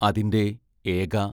അതിന്റെ ഏക